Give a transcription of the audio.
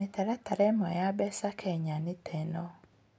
Mĩtaratara ĩmwe ya mbeca Kenya nĩ ta ĩno: